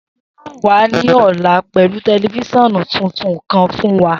Seyi yoo wa ni ọla pẹlu tẹlifisiọnu tuntun kan fun wa.